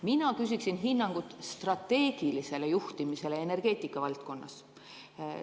Mina küsin hinnangut strateegilisele juhtimisele energeetika valdkonnas.